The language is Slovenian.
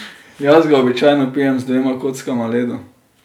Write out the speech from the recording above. Jaz ga običajno pijem z dvema kockama ledu.